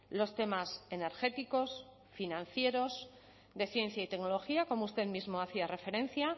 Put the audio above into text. los temas energéticos financieros de ciencia y tecnología como usted mismo hacía referencia